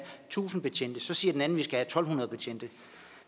tusind betjente så siger den anden vi skal tusind to hundrede betjente